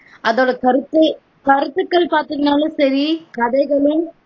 அதோட கருத்து கருத்துகள் பாத்தீங்கனாலும் சரி கதைகளின்